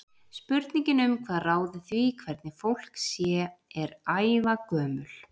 Spurningin um hvað ráði því hvernig fólk sé er ævagömul.